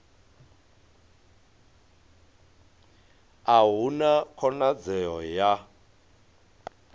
a hu na khonadzeo ya